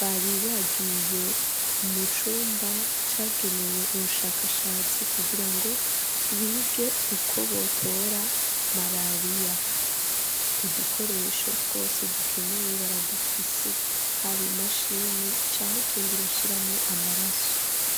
bari bagiye mu cumba cagenewe ubushakashatsi kugira ngo bige uko botora marariya udukoresho twose dukenewe baradufise haba imashini cangwa utundi bashiramo amaraso